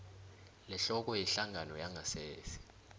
lehloko yehlangano yangasese